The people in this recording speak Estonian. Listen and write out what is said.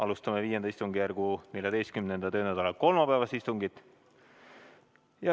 Alustame V istungjärgu 14. töönädala kolmapäevast istungit.